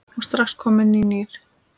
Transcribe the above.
og strax kominn nýr.